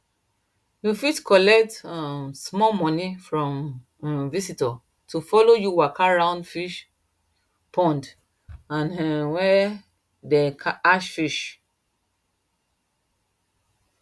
you fit collect um small money from um visitors to follow you waka round fish pond and um where dem hatch fish